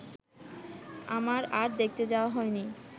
আমার আর দেখতে যাওয়া হয়নি